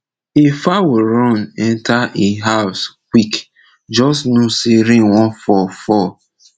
if fowl run enter e house quick just know say rain wan fall fall